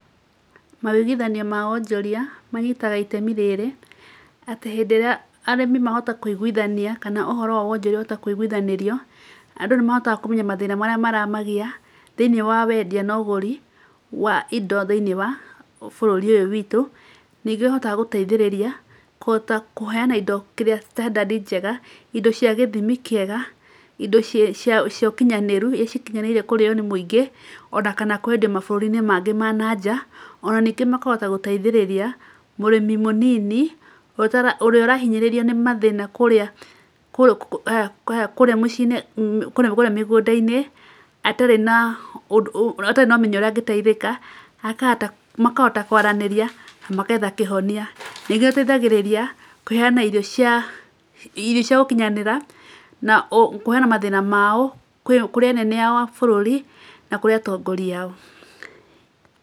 Mawũiguithanio ma wonjoria manyitaga itemi rĩrĩ, atĩ hĩndĩ ĩrĩa arĩmi mahota kũiguithania kana ũhoro wa wonjoria wahota kũiguithanĩrio, andũ nĩ mahotaga kũmenya mathĩna marĩa maramagia thĩiniĩ wa wendia na ũguri wa indo thĩiniĩ wa bũrũri ũyũ witũ. Ningĩ, ũhotaga gũteithĩrĩria kũhota kũheana indo kĩrĩa standard njega, indo cia gĩthimi kĩega, indo cia ũkinyanĩru, ĩ cikinyanĩire kũrĩo nĩ mũingĩ, o na kana kũendio mabũrũri-inĩ mangĩ ma nanja. O na ningĩ makahota gũteithĩrĩria mũrĩmi mũnini ũrĩa ũrahinyĩrĩrio nĩ mathĩna kũrĩa kũrĩa haya mĩcii-inĩ kũrĩa kũrĩa mĩgũnda-inĩ, atarĩ na ũndũ atarĩ na ũmenyo ũrĩa angĩteithĩka, akahota makahota kũaranĩria mageetha kĩhonia. Ningĩ, ũteithagĩrĩria kũheana irio cia irio cia gũkinyanĩra na kũheana mathĩna mao kwĩ kũrĩ anene ao a bũrũri na kũrĩ atongoria ao.